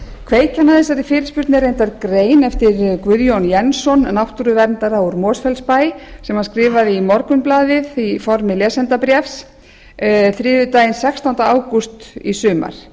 kveikjan að þessari fyrirspurn er reyndar grein eftir guðjón jensson náttúruverndara úr mosfellsbæ sem hann skrifaði í morgunblaðið í formi lesendabréfs þriðjudaginn sextánda ágúst í sumar